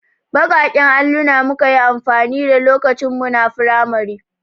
Baƙaƙen alluna muka yi amfani da lokacin muna firamari.